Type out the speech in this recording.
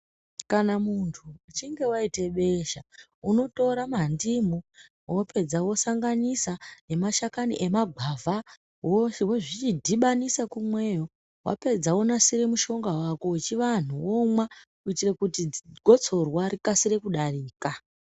Kana muntu uchinge waite besha unotora mandimu wopedza wosanganisa nemashakani emagwavha wozvidhibanisa kumweyo wapedza wonasire mushonga wako wechivantu womwa kuitire kuti gotsorwa rikasire kudarika.